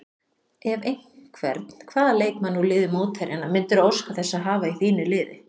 Ef einhvern, hvaða leikmann úr liði mótherjanna myndirðu óska þess að hafa í þínu liði?